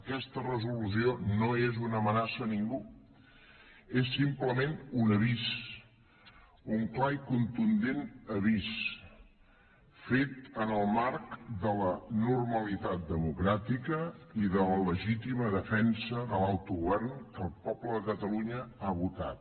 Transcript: aquesta resolució no és una amenaça a ningú és simplement un avís un clar i contundent avís fet en el marc de la normalitat democràtica i de la legítima defensa de l’autogovern que el poble de catalunya ha votat